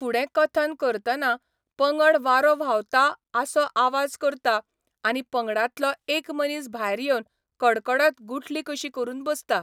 फुडें कथन करतना, पंगड वारो व्हांवता आसो आवाज करता, आनी पंगडांतलो एक मनीस भायर येवन कडकडत गुठली कशी करून बसता.